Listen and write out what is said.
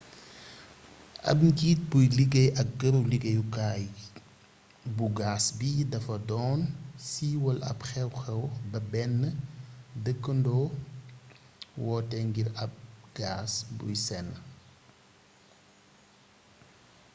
ab njiit buy liggéey ak këru liggéeyukaay bu gaas bi dafa doon siiwal ab xew xew ba benn dëkkandoo wootee ngir ab gaas buy senn